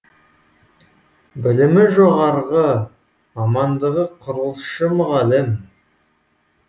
білімі жоғарғы мамандығы құрылысшы мұғалім